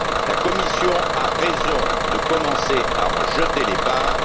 La Commission a raison de commencer à en jeter les bases.